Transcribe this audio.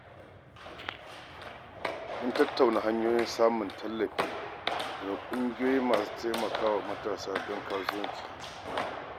Mun tattauna hanyoyin samun tallafi daga ƙungiyoyi masu taimakon matasa don kasuwanci.